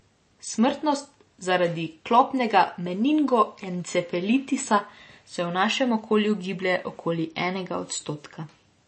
Smrtnost zaradi klopnega meningoencefalitisa se v našem okolju giblje okoli enega odstotka.